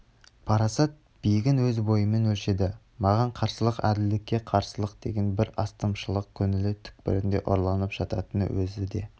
парасат биігін өз бойымен өлшеді маған қарсылық әділдкке қарсылық деген бір астамшылық көңілі түкпірінде ұрланып жататынын өзі де